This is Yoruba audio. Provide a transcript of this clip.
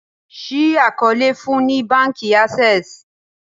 ṣii àkọọlẹ fún ní bánkì Access